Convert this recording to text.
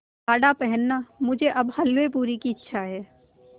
गाढ़ा पहनना मुझे अब हल्वेपूरी की इच्छा है